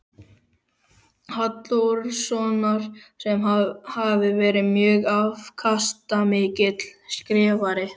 Halldórssonar, sem hafi verið mjög afkastamikill skrifari.